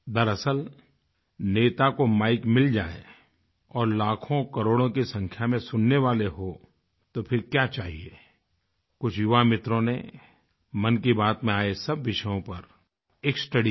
दरअसल नेता को माइक मिल जाए और लाखोंकरोड़ों की संख्या में सुनने वाले हों तो फिर क्या चाहिये कुछ युवा मित्रों ने मन की बात में आए सब विषयों पर एक स्टडी की